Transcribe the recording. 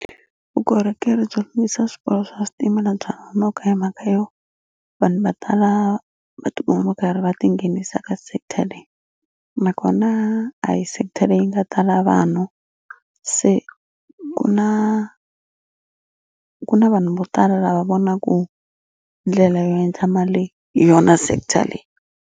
Vukorhokeri byo lunghisa swiporo swa switimela bya nkoka hi mhaka yo vanhu vo tala va ta va va karhi va tinghenisa ka sector leyi nakona a hi sector leyi nga tala vanhu se ku na ku na vanhu vo tala lava vonaku ndlela yo endla mali hi yona sector leyi.